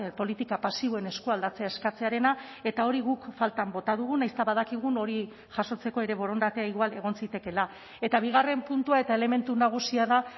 politika pasiboen eskualdatzea eskatzearena eta hori guk faltan bota dugu nahiz eta badakigun hori jasotzeko ere borondatea igual egon zitekeela eta bigarren puntua eta elementu nagusia da